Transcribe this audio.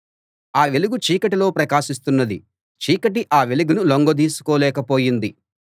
ఆ వెలుగు చీకటిలో ప్రకాశిస్తున్నది చీకటి ఆ వెలుగును లొంగదీసుకోలేక పోయింది